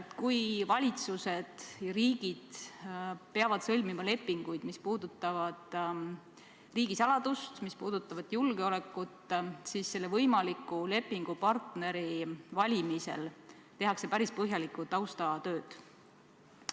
Kui valitsused ja riigid peavad sõlmima lepinguid, mis puudutavad riigisaladust, mis puudutavad julgeolekut, siis selle võimaliku lepingupartneri valimisel tehakse päris põhjalikku taustatööd.